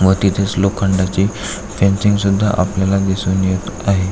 व तिथेच लोखंडाचे इंजिन सुद्धा आपल्याला दिसून येत आहे.